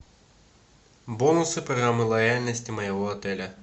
бонусы программы лояльности моего отеля